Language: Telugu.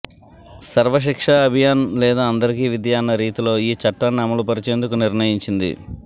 సర్వశిక్షా అభియాన్ లేదా అందరికీ విద్య అన్న రీతిలో ఈ చట్టాన్ని అమలు పరిచేందుకు నిర్ణయించింది